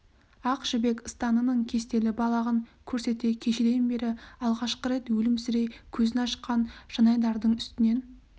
ақ жібек ыстанының кестелі балағын көрсете кешеден бері алғашқы рет өлімсірей көзін ашқан жанайдардың үстінен